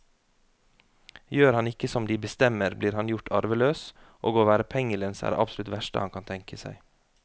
Gjør han ikke som de bestemmer, blir han gjort arveløs, og å være pengelens er det absolutt verste han kan tenke seg.